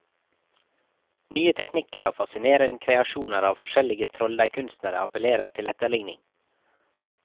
Nye teknikker og fascinerende kreasjoner av forskjellige trolldeigkunstnere appellerer til etterligning.